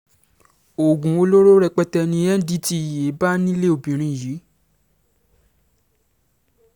oògùn olóró rẹpẹtẹ ni ndtea bá nílé obìnrin yìí